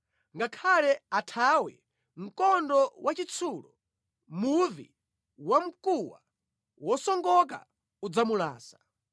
Ngakhale athawe mkondo wachitsulo, muvi wamkuwa wosongoka udzamulasa.